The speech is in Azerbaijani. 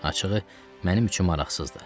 Açığı, mənim üçün maraqsızdır.